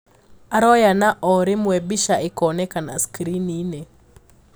Araoya na oo rimwe bica ikeonania skiriniini.